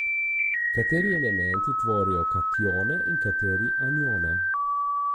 Kateri elementi tvorijo katione in kateri anione?